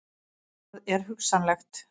Það er hugsanlegt.